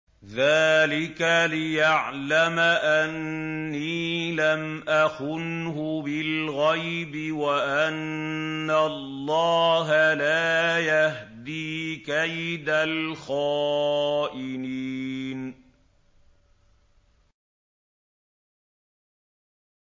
ذَٰلِكَ لِيَعْلَمَ أَنِّي لَمْ أَخُنْهُ بِالْغَيْبِ وَأَنَّ اللَّهَ لَا يَهْدِي كَيْدَ الْخَائِنِينَ